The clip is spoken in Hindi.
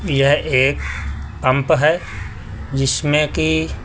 यह एक पंप है जिसमें कि--